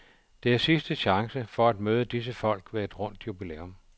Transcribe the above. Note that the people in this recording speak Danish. Det er sidste chance for at møde disse folk ved et rundt jubilæum.